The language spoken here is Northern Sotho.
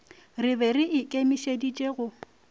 re be re ikemišeditše go